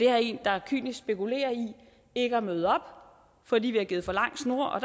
er en der kynisk spekulerer i ikke at møde op fordi vi har givet for lang snor og